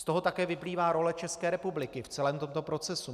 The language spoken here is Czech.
Z toho také vyplývá role České republiky v celém tomto procesu.